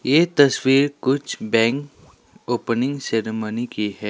ये तस्वीर कुछ बैंक ओपनिंग सेरिमनी की है।